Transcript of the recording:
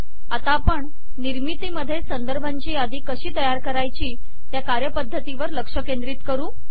आता आपण निर्मितीमध्ये संदर्भांची यादी कशी तयार करायची या कार्य पद्धती वर लक्ष केंद्रित करू